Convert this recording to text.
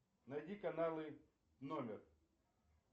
найди каналы номер